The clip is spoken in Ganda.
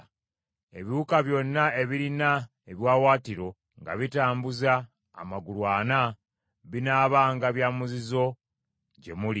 “Ebiwuka byonna ebirina ebiwaawaatiro nga bitambuza amagulu ana binaabanga bya muzizo gye muli.